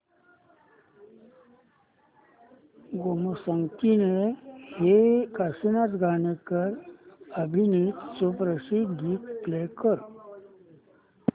गोमू संगतीने हे काशीनाथ घाणेकर अभिनीत सुप्रसिद्ध गीत प्ले कर